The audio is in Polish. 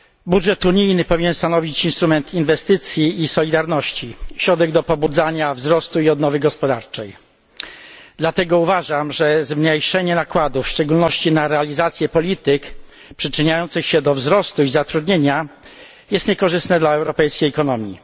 Budżet unijny powinien stanowić instrument inwestycji i solidarności, środek do pobudzania wzrostu i odnowy gospodarczej. Dlatego uważam, że zmniejszenie nakładów, w szczególności na realizację polityk przyczyniających się do wzrostu i zatrudnienia jest niekorzystne dla europejskiej ekonomii.